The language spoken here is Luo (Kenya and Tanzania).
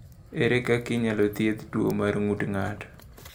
Ere kaka inyalo thiedh tuwo mar ng’ut ng’ato?